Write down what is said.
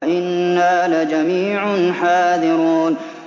وَإِنَّا لَجَمِيعٌ حَاذِرُونَ